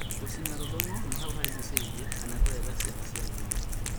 Gũcina rũng’uthu na hau harigicĩirie kana kũrenga ciĩga cia thiri